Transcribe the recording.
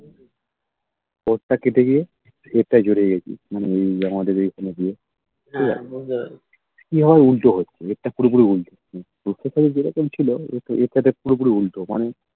তোর তা কেটে গিয়ে হেরটায় জুড়ে গেছি উম যে আমাদের আমাদের ইয়ে এ আবার উল্টো হচ্ছে তোর টা পুরো পুরি উল্টো রূপসার সাথে যেরকম ছিলো তোর সাথে পুরো পুরি উল্টো মানে